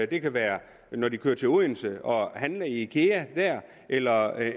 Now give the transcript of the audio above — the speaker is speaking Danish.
det kan være når de kører til odense og handler i ikea eller